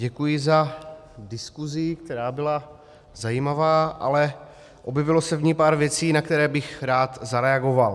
Děkuji za diskusi, která byla zajímavá, ale objevilo se v ní pár věcí, na které bych rád zareagoval.